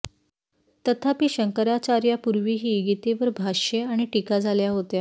तथापि शंकराचार्यापूर्वी ही गीतेवर भाष्ये आणि टीका झाल्या होत्या